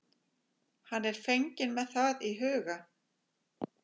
Hann er fenginn með það í huga.